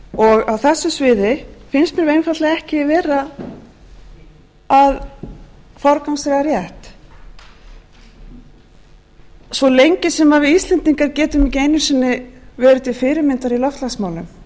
og á þessu sviði finnst mér við einfaldlega ekki vera að forgangsraða rétt svo lengi sem við íslendingar getum ekki eigum sinni verið til fyrirmyndar í loftslagsmálum